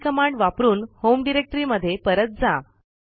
CD command वापरून home डिरेक्टरीमध्ये परत जा